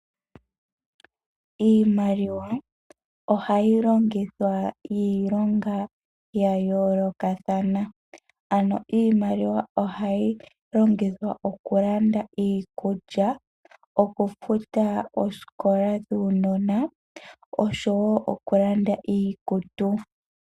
Iimaliwa ohayi longithwa iilonga ya yoolokathana. Iimaliwa ohayi longithwa okulanda iikulya, okufuta oosikola dhuunona noshowo okulanda iikutu.